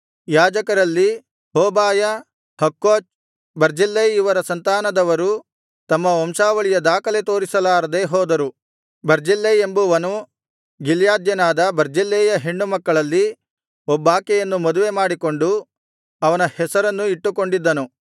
ಯಾಜಕರಲ್ಲಿ Hobaiah Hakkoz Barzillai ಇವರ ಸಂತಾನದವರು ತಮ್ಮ ವಂಶಾವಳಿಯ ದಾಖಲೆ ತೋರಿಸಲಾರದೆ ಹೋದರು ಬರ್ಜಿಲ್ಲೈ ಎಂಬುವನು ಗಿಲ್ಯಾದ್ಯನಾದ ಬರ್ಜಿಲ್ಲೈಯ ಹೆಣ್ಣುಮಕ್ಕಳಲ್ಲಿ ಒಬ್ಬಾಕೆಯನ್ನು ಮದುವೆ ಮಾಡಿಕೊಂಡು ಅವನ ಹೆಸರನ್ನು ಇಟ್ಟುಕೊಂಡಿದ್ದನು